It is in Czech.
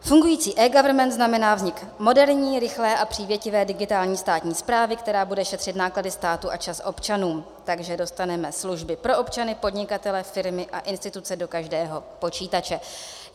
Fungující eGovernment znamená vznik moderní, rychlé a přívětivé digitální státní správy, která bude šetřit náklady státu a čas občanům, takže dostaneme služby pro občany, podnikatele, firmy a instituce do každého počítače.